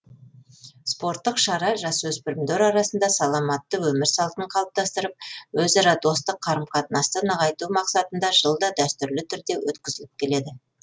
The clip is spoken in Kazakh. спорттық шара жасөспірімдер арасында саламатты өмір салтын қалыптастырып өзара достық қарым қатынасты нығайту мақсатында жылда дәстүрлі түрде өткізіліп келеді